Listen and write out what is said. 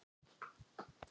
Kasta laflaust framhjá.